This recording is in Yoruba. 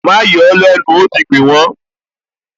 Má yọ ó lẹ́nu, ó ti gbìn wọ́n!